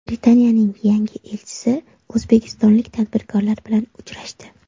Britaniyaning yangi elchisi o‘zbekistonlik tadbirkorlar bilan uchrashdi.